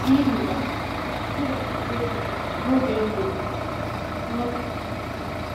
N'ihi ya, m ga-agọzi gị n'oge ndụ um m. ”